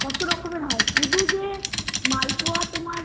কত রকমের হয় শুধুযে মালপোয়া